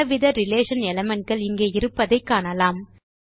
பலவித relation element கள் இங்கே இருப்பதை காணலாம்